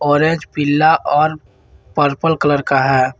Orange पीला और purple colour का है।